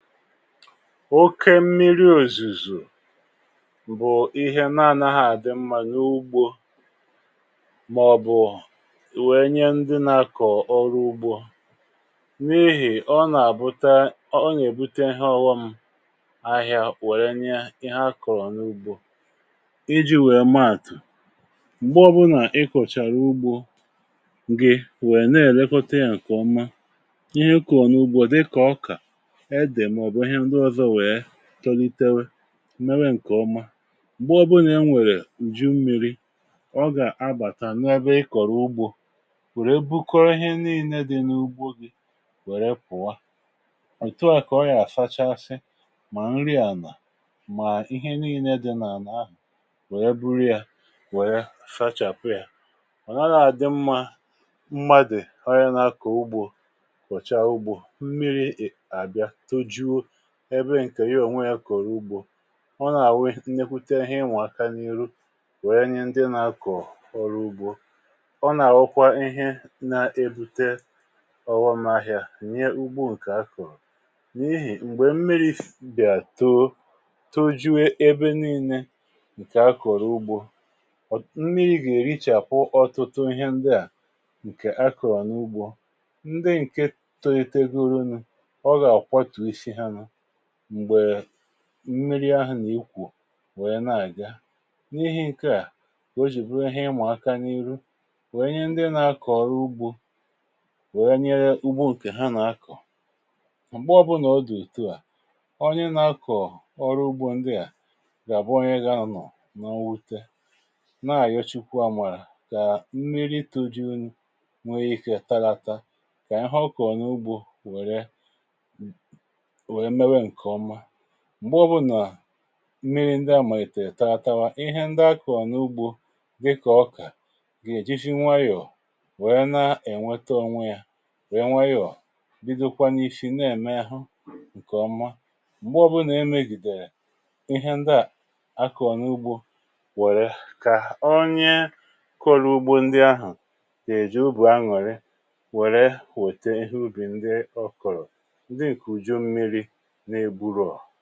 oke mmiri̇ òzùzù bụ̀ ihe na-anàghà àdị mmȧ nà ugbȯ, màọ̀bụ̀, wèe nye ndị na-akọ̀ọ̀ ọrụ ugbȯ. n’ihì ọ nà-àbụta, ọ nà-èbute ọwa m ahịa, wèrè nye ihe akọ̀rọ̀ n’ugbȯ iji̇ wèe maàtụ̀. m̀gbe ọbụnà ị kọ̀chàrà ugbȯ gị̇, wèe na-èlekote yȧ ǹkèọma ihe ụkọ̀rọ̀ n’ugbȯ, dịkà ọkà tolitere, mewe ǹkèọma. m̀gbe ọbụnà e nwèrè ǹju mmiri̇, ọ gà-abàtà n’ebe ịkọ̀rọ̀ ugbȯ, wère bukọrọ ihe niilė dị n’ugbȯ gị, wère pụ̀wa. òtù a kà ọ yà-àsapụ̀, mà nri ànà, mà ihe niilė dị n’àlà ahụ̀, wèe buru yȧ, wèe sachàpụ̀ yȧ. ọ̀ naghị àdị mmȧ mmadụ̀ arịana kò ugbȯ, kòchaa ugbȯ. ọ nà-àwụ nnekwute ihe, inwà aka n’ihu, wèe nye ndị nà-akọ̀ọ̀ ọrụ ugbȯ. ọ nà-àwụkwa ihe na-ebute ọwụmahịa nye ugbȯ, ǹkè akọ̀rọ̀ nyeehì. um m̀gbè mmiri̇ fìbìà too, tojuo ebe nii̇nė ǹkè akọ̀rọ̀ ugbȯ, ndị gà-èrichàpụ ọtụtụ ihe ndịà ǹkè akọ̀rọ̀ n’ugbȯ, ndị ǹke tolitegu, ruunu mmiri ahụ, nà-àkwụ, wèe na-àga. n’ihi̇ ǹke à kà o jì pụtara ihe, ịmụ̀ aka n’ihu, wèe nye ndị nà-akọ̀ ọrụ ugbȯ, wèe nye ugbȯ ùkè ha nà-akọ̀. m̀gbe ọbụnà ọ dụ̀ ụ̇tị à, onye nà-akọ̀ ọrụ ugbȯ ndị à gà-àbụ onye gà-anọ̀ n’ọnwute, na-àyochukwa mwàrà, kà mmiri tùdunye, nwe ikė tarata, kà ya họkọ̀ nà ugbȯ. wèe, m̀gbè ọ bụ nà mmiri ndi amà ètè ètawa ihe, ndi akọ̀ọ n’ugbȯ dịkà ọkà, gà-èji nwayọ̀ nwèrè, na-ènweta onwe ya, wèe nwayọ̀ bido kwa n’ishi, na-ème ahụ ǹkèọma. m̀gbè ọ bụ nà e megìdèrè ihe, ndi à akọ̀ọ n’ugbȯ, wère kà onye kọrọ ugbȯ, ndi ahụ̀ kà-èji ubù a, nwère, wère wète ihe ubì, ndi ọ kọ̀rọ̀, ndi ǹkè uju mmiri nà-eburùọ̀.